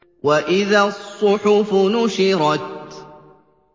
وَإِذَا الصُّحُفُ نُشِرَتْ